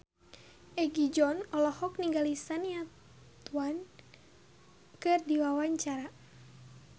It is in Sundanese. Egi John olohok ningali Shania Twain keur diwawancara